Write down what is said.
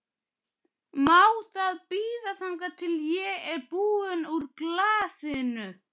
Má það bíða þangað til ég er búin úr glasinu?